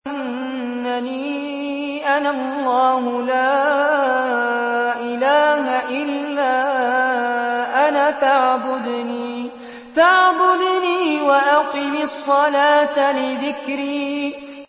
إِنَّنِي أَنَا اللَّهُ لَا إِلَٰهَ إِلَّا أَنَا فَاعْبُدْنِي وَأَقِمِ الصَّلَاةَ لِذِكْرِي